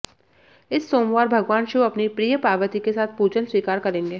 इस सोमवार भगवान शिव अपनी प्रिए पार्वती के साथ पूजन स्वीकार करेंगे